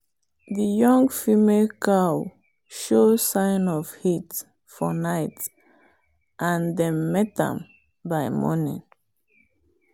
the young female cow show sign of heat for night and dem mate am by morning.